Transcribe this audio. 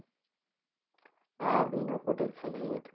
হ্যাঁ বিনা protection এই ওঠে।